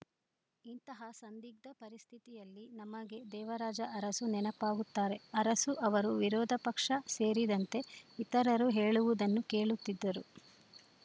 ಇಂತಹ ಸಂದಿಗ್ಧ ಪರಿಸ್ಥಿತಿಯಲ್ಲಿ ನಮಗೆ ದೇವರಾಜ ಅರಸು ನೆನಪಾಗುತ್ತಾರೆ ಅರಸು ಅವರು ವಿರೋಧ ಪಕ್ಷ ಸೇರಿದಂತೆ ಇತರರು ಹೇಳುವುದನ್ನು ಕೇಳುತ್ತಿದ್ದರು